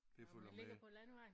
Det følger med